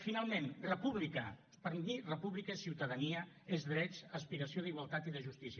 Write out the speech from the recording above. finalment república per mi república és ciutadania és drets aspiració d’igualtat i de justícia